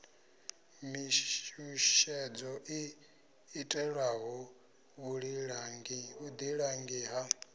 mishushedzo i itelwaho vhuḓilangi ha